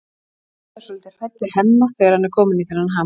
Edda er svolítið hrædd við Hemma þegar hann er kominn í þennan ham.